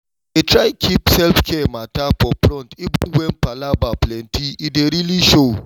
i dey try keep self-care matter for front even when palava plenty—e dey really show